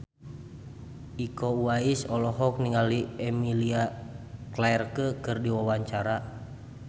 Iko Uwais olohok ningali Emilia Clarke keur diwawancara